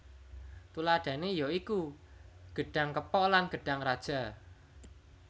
Tuladhané ya iku gedhang kepok lan gedhang raja